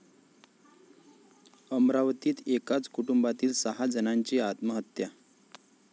अमरावतीत एकाच कुटुंबातील सहा जणांची आत्महत्या